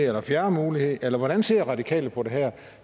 eller fjerde mulighed eller hvordan ser de radikale på det her